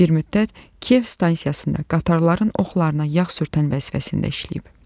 Bir müddət Kiyev stansiyasında qatarların oxlarına yağ sürtən vəzifəsində işləyib.